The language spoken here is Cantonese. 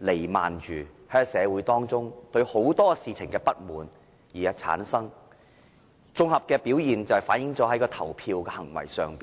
彌漫着社會，由於人們對很多事情的不滿而產生，綜合表現是反映於投票的行為上。